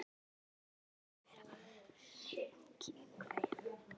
Hann virtist ekki vera nein kveif?